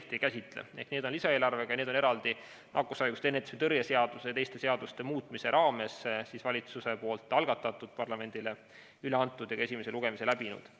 Need on lisaeelarvega ning eraldi nakkushaiguste ennetamise ja tõrje seaduse muutmise ning sellega seonduvalt teiste seaduste muutmise seaduse raames valitsusel algatatud, parlamendile üle antud ja ka esimese lugemise läbinud.